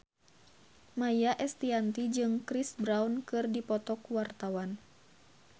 Maia Estianty jeung Chris Brown keur dipoto ku wartawan